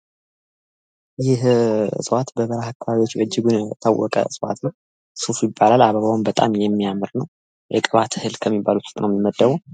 ይህ እጽዋት በበረሃ አከባቢ የሚገኝ እጽዋት ነው ፤ ሱፍ ይባላል ፤ አበባዉም በጣም የሚያምር ነው ከቅባት እህል ዉስጥ ነው ሚመደበው።